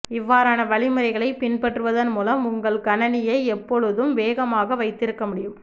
இவ்வாறான வழிமுறைகளை பின்பற்றுவதன் மூலம் உங்கள் கணனியை எப்போழுதும் வேகமாக வைத்திருக்க முடியும்